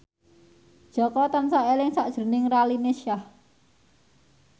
Jaka tansah eling sakjroning Raline Shah